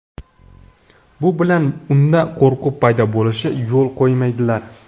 Bu bilan unda qo‘rquv paydo bo‘lishiga yo‘l qo‘ymaydilar.